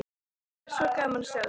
Það væri svo gaman að sjá þig.